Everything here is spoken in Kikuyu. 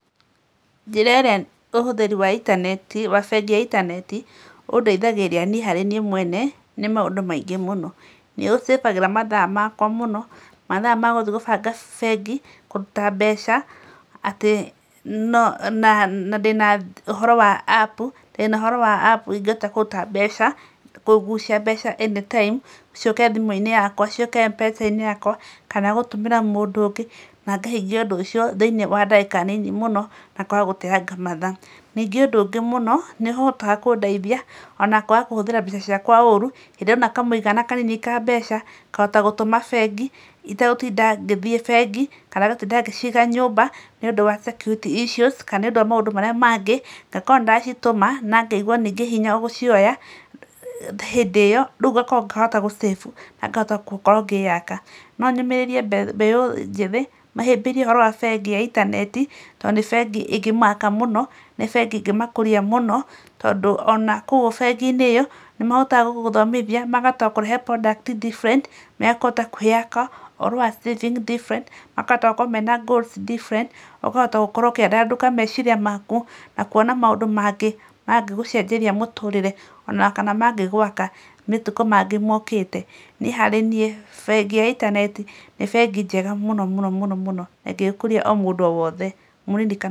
Njĩra ĩrĩa ũhũthĩri wa bengi ya intaneti undeithagĩrĩria niĩ harĩ niĩ mwene nĩ maũndũ maingĩ mũno. Nĩũsĩvagĩra mathaa makwa mũno, mathaa ma gũthiĩ gũbanga bengi kũruta mbeca na ndĩna ũhoro wa apu ingĩhota kũruta mbeca, kugucia mbeca anytime ciũke thimũ-inĩ yakwa; ciũke Mpesa-inĩ yakwa, kana gũtũmĩra mũndũ ũngĩ na ngahingia ũndũ ũcio thĩ-inĩ wa ndagĩka nini mũno, na kwaga gũteanga mathaa. Ningĩ ũndũ ũngĩ mũno; nĩĩhotaga kũndeithia ona kwaga kũhũthĩra mbeca ciakwa ũũru. Hĩndĩ ĩrĩa ndona kamũigana ka mbeca ngahota gũtũma bengi itegũtinda ngĩthiĩ bengi kana gũtinda ngĩciga nyũmba nĩundũ wa security issues , kana nĩundũ wa maũndũ marĩa mangĩ. Ngakorwo nĩ ndacitũma na ngaigua ningĩ hinya gũcioya hĩndĩ ĩyo; rĩu ngakorwo ngahota gũsĩvu na ngahota gũkorwo ngĩyaka. No nyũmĩrĩrie mbeu njĩthĩ mahĩmbĩrie ũhoro wa bengi ya intaneti tondũ ni bengi ĩngĩmaaka mũno, ni bengi ĩngĩmakũria mũno tondũ ona kũu bengi-inĩ ĩyo nĩmahotaga gũgũthomithia makahota gũkũhe product different na, ũhoro wa saving different, makahota gũkorwo mena goals different, ũkahota gũkorwo ũkĩandandũka meciria maku na kũona maũndũ maangĩ mangĩgũcenjeria mũtũrĩre, ona kana mangĩgwaka matukũ mangĩ mokĩte. Niĩ harĩ niĩ bengi ya intaneti nĩ bengi njega mũno mũno mũno mũno na ĩngĩgĩĩkũria mũndũ o wothe, mũnini kana...